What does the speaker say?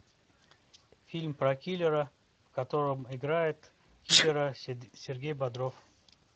фильм про киллера в котором играет киллера сергей бодров